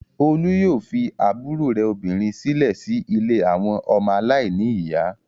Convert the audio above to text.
Olú yóò fi àbúrò obìnrin rẹ̀ sílẹ̀ sí ilé àwọn ọmọ aláìníìyá.